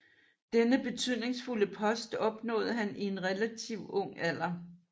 Denne betydningsfulde post opnåede han i en relativt ung alder